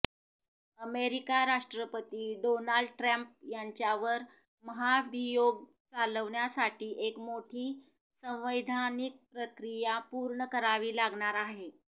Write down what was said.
America राष्ट्रपती Donald Trump यांच्यावर महाभियोग चालवण्यासाठी एक मोठी संवैधानिक प्रक्रिया पूर्ण करावी लागणार आहे